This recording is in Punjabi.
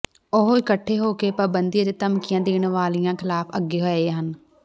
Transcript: ਉਹ ਇਕੱਠੇ ਹੋ ਕੇ ਪਾਬੰਦੀ ਅਤੇ ਧਮਕੀਆਂ ਦੇਣ ਵਾਲਿਆਂ ਖ਼ਿਲਾਫ਼ ਅੱਗੇ ਆਏ ਹਨ